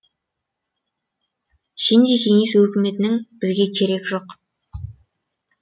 сендей кеңес өкіметінің бізге керегі жоқ